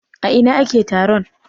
A ina ake taron?